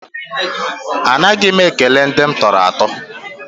Anaghị m ekele ndị m tọrọ atọ.